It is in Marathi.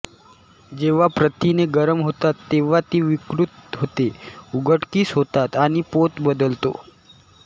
जेव्हा प्रथिने गरम होतात तेव्हा ती विकृत होते उघडकीस होतात आणि पोत बदलतो